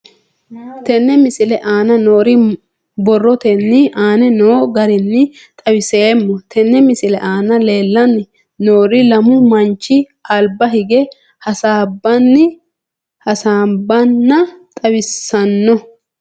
Tenne misile aana noore borrotenni aane noo garinni xawiseemo. Tenne misile aana leelanni nooerri lamu manchi alba hige hasaabbanna xawissanno.